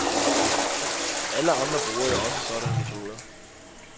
Alle andre bruger jo også sådanne metoder.